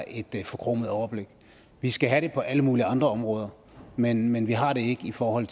et forkromet overblik vi skal have det på alle mulige andre områder men men vi har det ikke i forhold